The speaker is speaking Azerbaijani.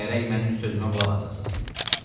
Gərək mənim sözümə qulaq asasız.